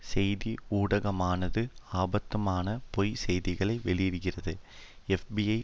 செய்தி ஊடகமானது அபத்தமான பொய் செய்திகளை வெளியிடுகிறது எப்பிஐ